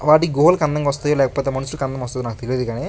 వాటి గోల్కి అందంగా వస్తయో లేకపోతే మనుషులకు అందం వస్తదో నాకు తెలీదు గానీ --